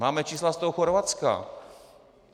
Máme čísla z toho Chorvatska.